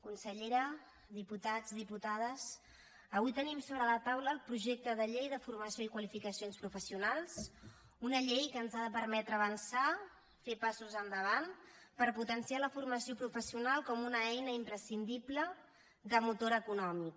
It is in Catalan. consellera diputats diputades avui tenim sobre la taula el projecte de llei de formació i qualificacions professionals una llei que ens ha de permetre avançar fer passos endavant per potenciar la formació professional com una eina imprescindible de motor econòmic